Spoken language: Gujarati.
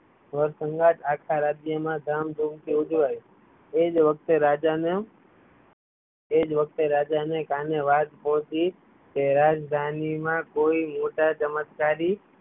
આખા રાજ્ય માં ધામ ધૂમ થી ઉજવાય એજ વખતે રાજાને કાને વાત પહુંચી કે રાજધાની માં કોઈ મોટા ચમત્કારી